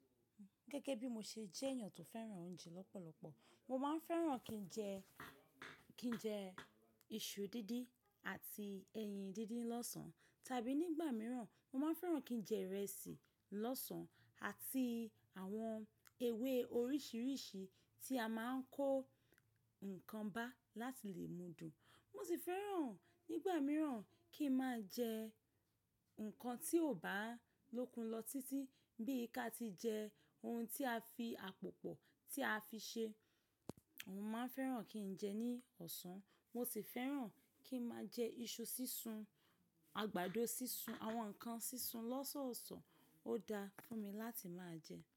Gẹ́gẹ́ bí mo ṣe jẹ́ èèyàn tó fẹ́ràn oúnjẹ lọ́pọ̀lọpọ̀, mo máa ń fẹ́ràn kí n jẹ, kí n jẹ iṣu díndín àti ẹyin díndín lọ́sàn-án tàbí nígbà mìíràn mo máa ń fẹ́ràn kí n jẹ ìrẹsì lọ́sàn-án àti àwọn ewé oríṣiríṣi tí a máa ń kó nǹkan bá láti lè mú dun. Mo sì fẹ́ràn nígbà mìíràn kí n máa jẹ nǹkan tí ò bá lókun lọ títí bí i ká ti jẹ ohun tí a fi àpòpọ̀ tí a fi ṣe. Mo máa ń fẹ́ràn kí n jẹ ní ọ̀sán. Mo sì fẹ́ràn kí n máa jẹ iṣu sísun, àgbàdo sísun, àwọn ǹkan sísun lọ́sọ̀ọ̀sán, ó daa fún mi láti máa jẹ.